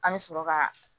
An bɛ sɔrɔ ka